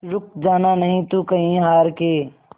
रुक जाना नहीं तू कहीं हार के